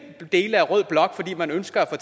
dele af rød blok fordi man ønsker at